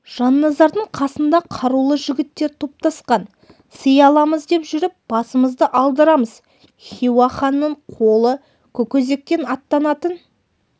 жанназардың қасында қарулы жігіттер топтасқан сый аламыз деп жүріп басымызды алдырамыз хиуа ханының қолы көкөзектен аттанатын